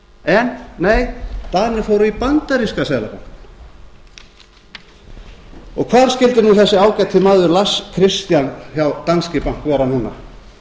en nei danir fóru í bandaríska seðlabankann hvar skyldi nú þessi ágæti maður lars christian hjá danske bank vera núna